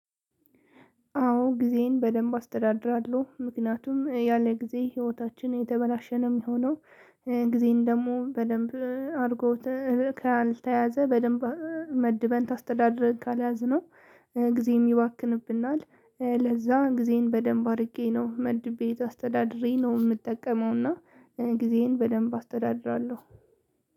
አዎ ጊዜን በደንብ አስተዳድራለሁ። ምክንያቱም ያለ ጊዜ ህይወታችን የተበላሸ ነው የሚሆነው። ጊዜን ደግሞ በደንብ አድርጎት ከያልተያዘ በደንብ መድበን ታስተዳድረን ካልያዝነው ጊዜ የሚባክንብናል። ለዛ ጊዜን በደንብ አድርጌ ነው መድቤ አስተዳድሬ ነው የምጠቀመውና ገዜን በደንብ አስተዳድራለሁ።